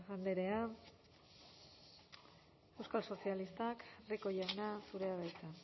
andrea euskal sozialistak rico jauna zurea da hitza